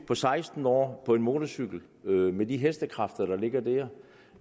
på seksten år på en motorcykel med de hestekræfter der ligger der